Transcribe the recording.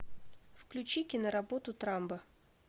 включи киноработу трамба